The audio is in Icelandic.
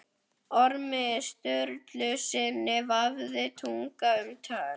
Ormi Sturlusyni vafðist tunga um tönn.